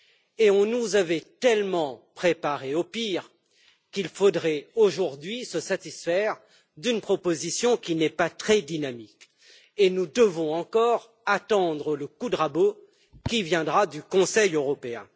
Et on nous avait tellement préparés au pire, qu'il faudrait aujourd'hui se satisfaire d'une proposition qui n'est pas très dynamique et nous devons encore attendre le coup de rabot qui viendra du Conseil européen.